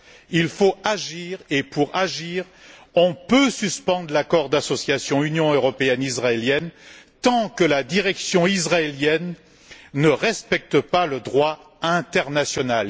Il faut agir et, pour agir, on peut suspendre l'accord d'association Union européenne Israël tant que la direction israélienne ne respectera pas le droit international.